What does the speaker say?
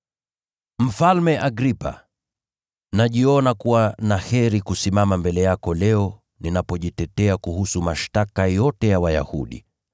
“Mfalme Agripa, najiona kuwa na heri kusimama mbele yako leo ninapojitetea kuhusu mashtaka yote ya Wayahudi,